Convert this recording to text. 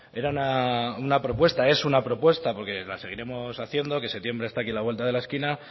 era una propuesta es una propuesta porque la seguiremos haciendo que septiembre está aquí a la vuelta de la esquina